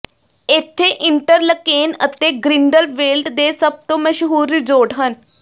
ਇੱਥੇ ਇੰਟਰਲਕੇਨ ਅਤੇ ਗ੍ਰਿੰਡਲਵੇਲਡ ਦੇ ਸਭ ਤੋਂ ਮਸ਼ਹੂਰ ਰਿਜ਼ੋਰਟ ਹਨ